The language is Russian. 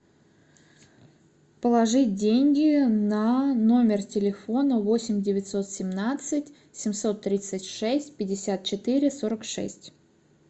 положить деньги на номер телефона восемь девятьсот семнадцать семьсот тридцать шесть пятьдесят четыре сорок шесть